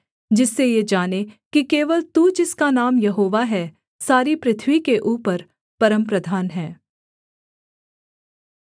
जिससे ये जानें कि केवल तू जिसका नाम यहोवा है सारी पृथ्वी के ऊपर परमप्रधान है